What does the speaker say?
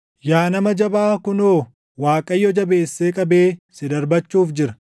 “Yaa nama jabaa kunoo, Waaqayyo jabeessee qabee si darbachuuf jira.